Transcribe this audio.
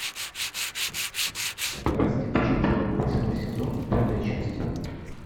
страсти по чапаю восьмой сезон пятая часть